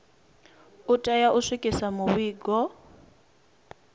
u tea u swikisa mivhigo